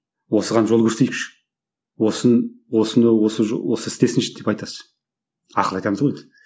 осыған жол көрсетейікші осыны осы істесінші деп айтасыз ақыл айтамыз ғой енді